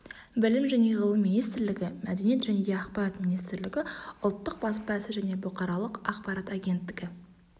білім және ғылым министрлігі мәдениет және ақпарат министрлігі ұлттық баспа ісі және бұқаралық ақпарат агенттігі